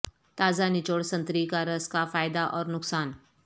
تازہ نچوڑ سنتری کا رس کا فائدہ اور نقصان